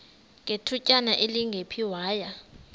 ngethutyana elingephi waya